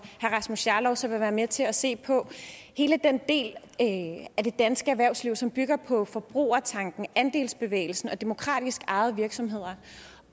herre rasmus jarlov så vil være med til at se på hele den del af det danske erhvervsliv som bygger på forbrugertanken andelsbevægelsen og demokratisk ejede virksomheder